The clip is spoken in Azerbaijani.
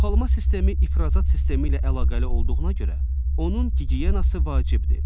Çoxalma sistemi ifrazat sistemi ilə əlaqəli olduğuna görə, onun gigiyenası vacibdir.